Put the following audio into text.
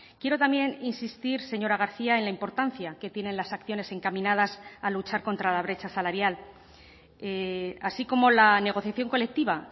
quiero también insistir señora garcía en la importancia que tienen las acciones encaminadas a luchar contra la brecha salarial así como la negociación colectiva